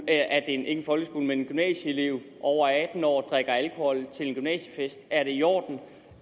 at en en gymnasieelev over atten år drikker alkohol til en gymnasiefest er det i orden